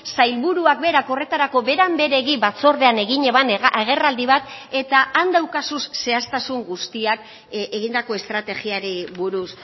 sailburuak berak horretarako beran beregi batzordean egin eban agerraldi bat eta han daukazu zehaztasun guztiak egindako estrategiari buruz